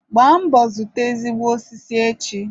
Gbaa mbọ zụta ezigbo osisi echi!